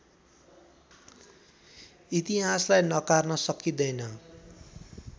इतिहासलाई नकार्न सकिँदैन